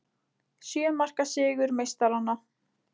Sjö marka sigur meistaranna